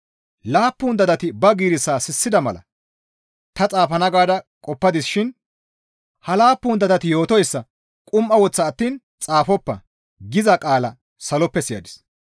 Laappun dadati ba giirissaa sissida mala ta xaafana gaada qoppadis shin, «Ha laappun dadati yootoyssa qum7a woththa attiin xaafoppa!» giza qaala saloppe siyadis.